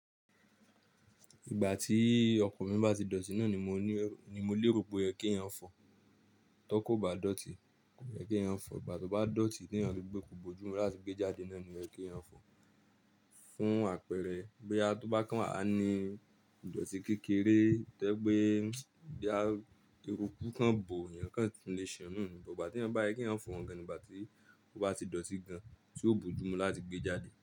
Ìgbà tí ọkọ̀ mí bà ti dọ̀tí náà ni mo ní, ni mo lé ro pé ẹ kí ẹ̀yan fọ̀, tó kò bá dọ̀tí kò ní ẹ kí ẹ̀yan fọ̀, ìgbà tó bá dọ̀tí tí ẹ̀yan tó gbé kò bojú mu láti gbé e jáde náà ní ẹ kí ẹ̀yan fọ̀. Fún àpẹẹrẹ bí a tó bá kàn wà a ní ìdọ̀tí kékeré tẹ́gbẹ́ bí a rí eruku kan bò ẹ̀yan kan le sẹun nù, bí ò bá tí ẹ̀yan bá ẹ kí ẹ̀yan fọ̀ gan nígbà tí ó bá ti dọ̀tí gan tí ó bojú mu láti gbé e jáde.